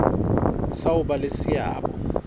sa ho ba le seabo